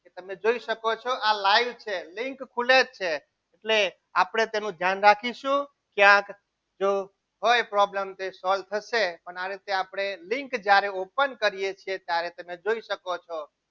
તે તમે જોઈ શકો છો આ live છે લિંક છે એટલે આપણે તેનું ધ્યાન રાખીશું કે આ જો હોય problem તો solve થશે અને આ રીતે લિંક જ્યારે ઓપન કરીએ છીએ ત્યારે જોઈ શકો છો.